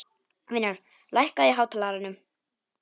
Vinjar, lækkaðu í hátalaranum.